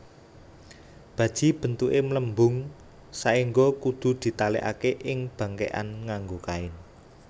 Baji bentuke mlembung saengga kudu ditalekake ing bangkekan nganggo kain